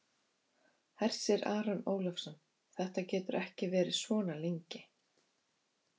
Hersir Aron Ólafsson: Þetta getur ekki verið svona lengi?